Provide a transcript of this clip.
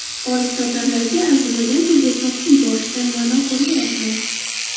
Olibsotarlarga arzimagan pulga sotib yuborishdan ma’no ko‘rmayapman.